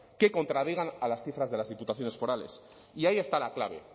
que contradigan a las cifras de las diputaciones forales y ahí está la clave